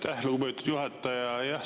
Aitäh, lugupeetud juhataja!